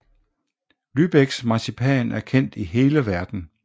Lübecks marcipan er kendt i hele verden